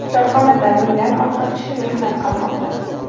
Korxonada mingdan ortiq kishi mehnat qilmoqda.